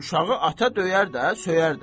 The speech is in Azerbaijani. Uşağı ata döyər də, söyər də.